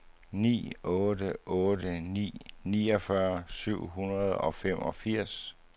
ni fire otte ni niogfyrre syv hundrede og femogfirs